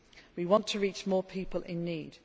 not easy. We want to reach more people